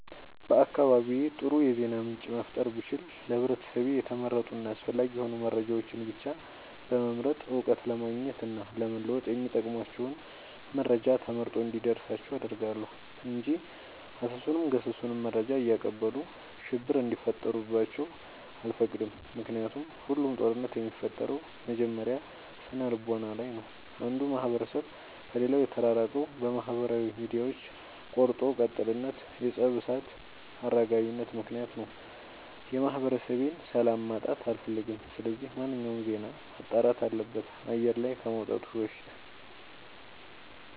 በአካባቢዬ አጥሩ የዜና ምንጭ መፍጠር ብችል ለህብረተሰቤ የተመረጡ እና አስፈላጊ የሆኑ መረጃዎችን ብቻ በመምረጥ እውቀት ለማግኘት እና ለመወጥ የሚጠቅሟቸውን መረጃ ተመርጦ እንዲደርሳቸው አደርጋለሁ። እንጂ አሰሱንም ገሰሱንም መረጃ እያቀበሉ ሽብር እንዲፈጥሩባቸው አልፈቅድም ምክንያቱም ሁሉም ጦርነት የሚፈጠረው መጀመሪያ ስነልቦና ላይ ነው። አንዱ ማህበረሰብ ከሌላው የተራራቀው በማህበራዊ ሚዲያዎች ቆርጦ ቀጥልነት የፀብ እሳት አራጋቢነት ምክንያት ነው። የማህበረሰቤን ሰላም ማጣት አልፈልግም ስለዚህ ማንኛውም ዜና መጣራት አለበት አየር ላይ ከመውጣቱ በፊት።